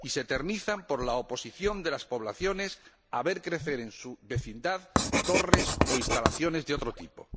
Y se eternizan por la oposición de las poblaciones a ver crecer en su vecindad torres o instalaciones de otro tipo.